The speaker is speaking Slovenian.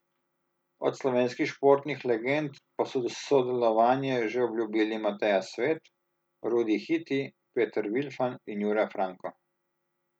Od slovenskih športnih legend pa so sodelovanje že obljubili Mateja Svet, Rudi Hiti, Peter Vilfan in Jure Franko.